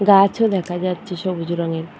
গাছ ও দেখা যাচ্ছে সবুজ রঙের।